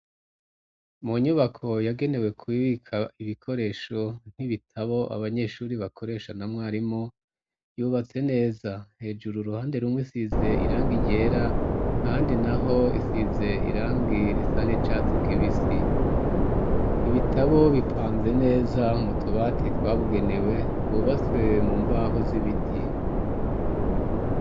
Mu nyubako yagenewe kubibika ibikoresho nk'ibitabo abanyeshuri bakoresha na mwarimu yubatse neza hejuru ruhande rumwe isize iranga iryera handi na ho isize irang irisa ne catsi kibe isi ibitabo bipanze neza mutubatitwa bugenewe twubatse mu mbaho z'ibiti.